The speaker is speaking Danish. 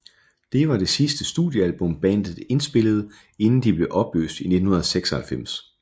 Det var det sidste studiealbum bandet indspillede inden de blev opløst i 1996